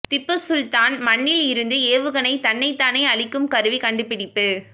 திப்பு சுல்தான் மன்னில் இருந்து ஏவுகணை தன்னைத் தானே அழிக்கும் கருவி கண்டுபிடிப்பு